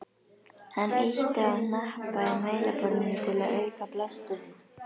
Hann ýtti á hnappa í mælaborðinu til að auka blásturinn.